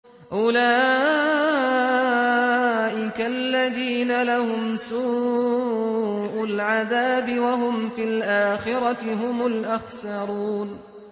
أُولَٰئِكَ الَّذِينَ لَهُمْ سُوءُ الْعَذَابِ وَهُمْ فِي الْآخِرَةِ هُمُ الْأَخْسَرُونَ